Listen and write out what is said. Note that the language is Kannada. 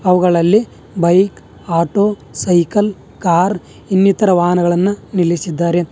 ಅವುಗಳಲ್ಲಿ ಬೈಕ್ ಆಟೋ ಸೈಕಲ್ ಕಾರ್ ಇನ್ನಿತರ ವಾಹನಗಳನ್ನು ನಿಲ್ಲಿಸಿದ್ದಾರೆ.